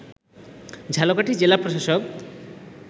ঝালকাঠি জেলা প্রশাসক